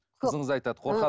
қызыңыз айтады қорқады